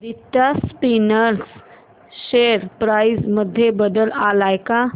Aditya Spinners share price मध्ये बदल आलाय का